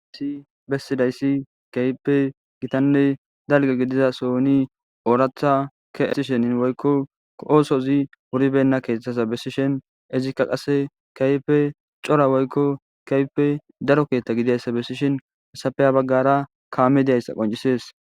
Hayisi bessidayssi kaype gitanne dalge gidiza soni ooratha keesishenin woykko oosozi wuribenna keeththasa bessishin ezikka qase kaype cora woykko kaype daro keeththa gidiayssa bessishin hesafeya baggara kaame diayssa qoncisees